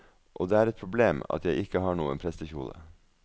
Og det er et problem at jeg ikke har noen prestekjole.